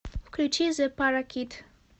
включи зе паракит